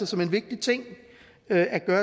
som en vigtig ting at gøre